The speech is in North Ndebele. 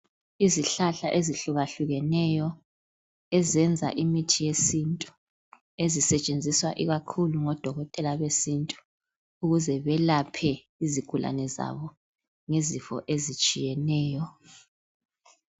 Izihlahla ezihluka hlukeneyo ezenza imithi yesintu . Ezisetshenziswa ikakhulu ngodokotela besintu ukuze balaphe izigulane zabo ngezifo ezitshiyeneyo